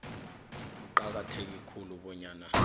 kuqakatheke khulu bonyana